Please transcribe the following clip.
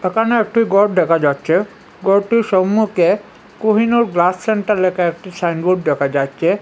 এখানে একটি গর দেখা যাচ্ছে ঘরটির সম্মুখে কোহিনুর গ্লাস সেন্টার লেখা একটি সাইনবোর্ড দেখা যাচ্ছে।